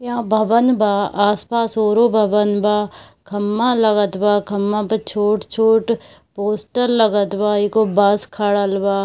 यह भबन बा आस-पास ओरो भबन बा खम्बा लागत बा खम्बा पे छोट-छोट पोस्टर लगत बा एगो बाँस खड़ल बा।